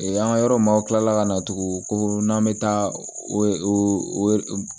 An ka yɔrɔ maw kila la ka na tugun ko n'an bɛ taa o